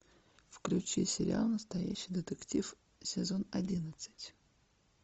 включи сериал настоящий детектив сезон одиннадцать